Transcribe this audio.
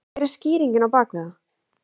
Hver er skýringin á bak við það?